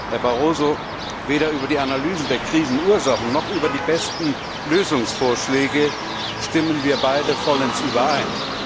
Herr Barroso, weder über die Analyse der Krisenursachen noch über die besten Lösungsvorschläge stimmen wir beide vollends überein.